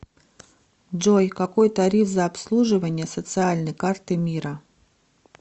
джой какой тариф за обслуживание социальной карты мира